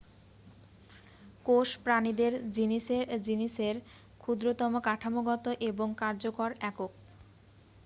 কোষ প্রাণীদের জিনিসের ক্ষুদ্রতম কাঠামোগত এবং কার্যকরী একক।